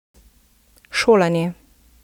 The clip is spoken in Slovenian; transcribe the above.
Šolanje.